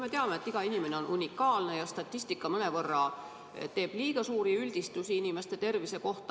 Me teame, et iga inimene on unikaalne ja statistika teeb mõnevõrra liiga suuri üldistusi inimeste tervise kohta.